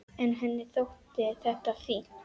En henni þótti þetta fínt.